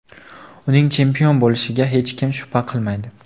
Uning chempion bo‘lishiga hech kim shubha qilmaydi.